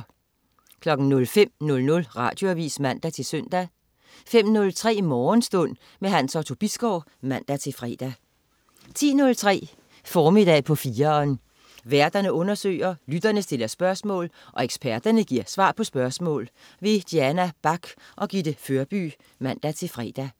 05.00 Radioavis (man-søn) 05.03 Morgenstund. Hans Otto Bisgaard (man-fre) 10.03 Formiddag på 4'eren. Værterne undersøger, lytterne stiller spørgsmål, og eksperterne giver svar på spørgsmål. Diana Bach og Gitte Førby (man-fre)